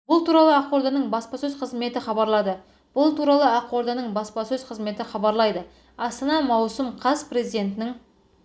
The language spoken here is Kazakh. бұл туралы ақорданың баспасөз қызметі хабарлады бұл туралы ақорданың баспасөз қызметі хабарлайды астана маусым қаз президентінің